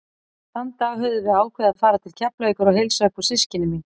Þann dag höfðum við ákveðið að fara til Keflavíkur og heilsa upp á systkini mín.